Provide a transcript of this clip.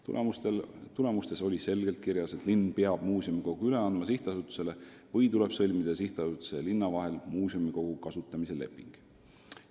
Tulemuste kokkuvõttes oli selgelt kirjas, et linn peab muuseumikogu sihtasutusele üle andma või tuleb sõlmida sihtasutuse ja linna vahel muuseumikogu kasutamise leping.